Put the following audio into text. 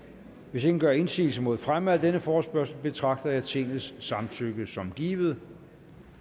hvis ingen gør indsigelse mod fremme af denne forespørgsel betragter jeg tingets samtykke som givet